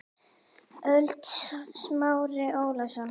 ÖLD Smári Ólason